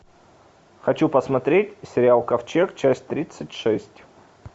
хочу посмотреть сериал ковчег часть тридцать шесть